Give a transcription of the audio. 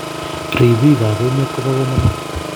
Ripiik ap emeet kopo kamonut